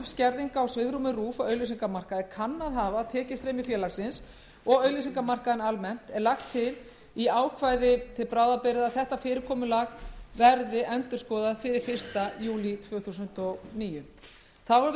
skerðing á svigrúmi rúv á auglýsingamarkaði kann að hafa á tekjustreymi félagsins og auglýsingamarkaðinn almennt er lagt til í ákvæði til bráðabirgða að þetta fyrirkomulag verði endurskoðað fyrir fyrsta júlí tvö þúsund og níu þá er við það miðað